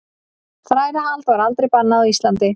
Þrælahald var aldrei bannað á Íslandi.